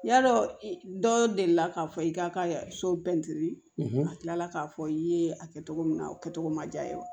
Yadɔ dɔw deli la k'a fɔ i k'a ka so ka tila k'a fɔ i ye a kɛcogo min na o kɛcogo ma diya ye